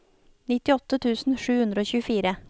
nittiåtte tusen sju hundre og tjuefire